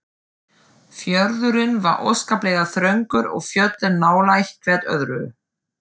Fjörðurinn var óskaplega þröngur og fjöllin nálægt hvert öðru.